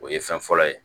O ye fɛn fɔlɔ ye